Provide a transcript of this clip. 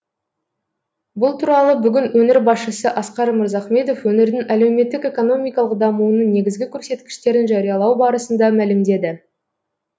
бұл туралы бүгін өңір басшысы асқар мырзахметов өңірдің әлеуметтік экономикалық дамуының негізгі көрсеткіштерін жариялау барысында мәлімдеді